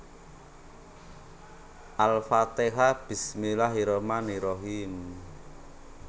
Al Fatihah Bismillaahirrahmaanirrahiim